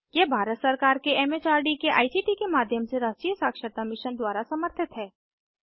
यह भारत सरकार के एम एच आर डी के आई सी टी के माध्यम से राष्ट्रीय साक्षरता मिशन द्वारा समर्थित है